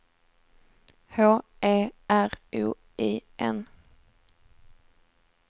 H E R O I N